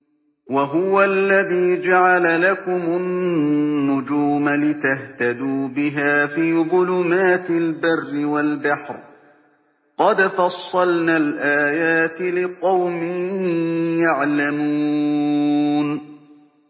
وَهُوَ الَّذِي جَعَلَ لَكُمُ النُّجُومَ لِتَهْتَدُوا بِهَا فِي ظُلُمَاتِ الْبَرِّ وَالْبَحْرِ ۗ قَدْ فَصَّلْنَا الْآيَاتِ لِقَوْمٍ يَعْلَمُونَ